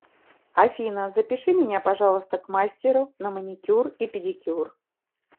афина запиши меня пожалуйста к мастеру на маникюр и педикюр